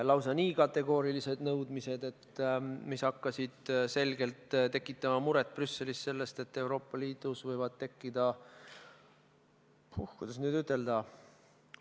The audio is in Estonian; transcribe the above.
Lausa nii kategoorilised nõudmised, mis hakkasid selgelt tekitama Brüsselis muret, et Euroopa Liidus võivad tekkida – kuidas nüüd ütelda?